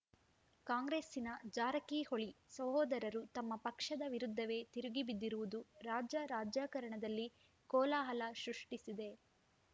ಕಾಂಗ್ರೆಸ್ಸಿನ ಜಾರಕಿಹೊಳಿ ಸಹೋದರರು ತಮ್ಮ ಪಕ್ಷದ ವಿರುದ್ಧವೇ ತಿರುಗಿಬಿದ್ದಿರುವುದು ರಾಜ್ಯ ರಾಜಕಾರಣದಲ್ಲಿ ಕೋಲಾಹಲ ಸೃಷ್ಟಿಸಿದೆ